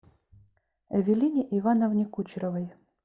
эвелине ивановне кучеровой